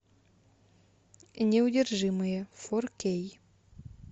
неудержимые фор кей